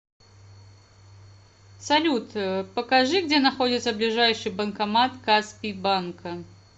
салют покажи где находится ближайший банкомат каспий банка